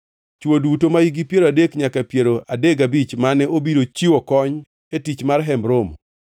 Chwo duto mahikgi piero adek nyaka piero adek gabich mane obiro chiwo kony e tich mar Hemb Romo,